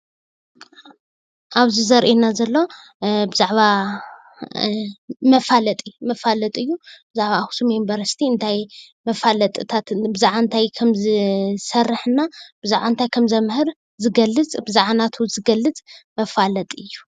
ኣብዚ ዘሪኤና ዘሎ ብዛዕባ መፈለጢ እዩ ኣክሱም ዩኒፈርስቲ ብዛዕባ ዝሰርሖም ስራሕቲና ብዛዕባ እንታይ ከምህር ዝገልፅ መፋለጢ እዩ፡፡